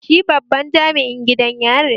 Shi babban jami'in gidan yari ne